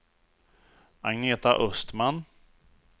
Agneta Östman